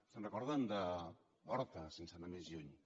se’n recorden d’horta sense anar més lluny